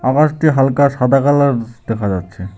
ওয়ারটি হালকা সাদা কালার দেখা যাচ্ছে।